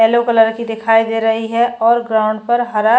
yellow colour की दिखाई दे रही है और ग्राउंड पर हरा --